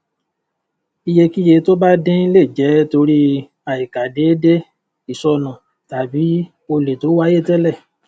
iyekiye tó bá din le jẹ tori aikadeede isonu tàbí olè to wáyé télè